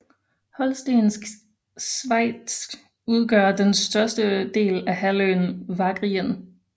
Holstensk Svejts udgør den største del af halvøen Wagrien